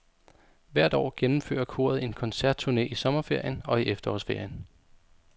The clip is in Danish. Hvert år gennemfører koret en koncertturné i sommerferien og i efterårsferien.